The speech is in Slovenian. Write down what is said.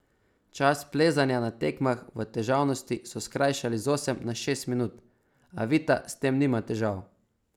Čas plezanja na tekmah v težavnosti so skrajšali z osem na šest minut, a Vita s tem nima težav.